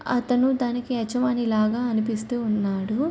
అతను దానికి యజమాని లాగా అనిపిస్తూ ఉన్నాడు.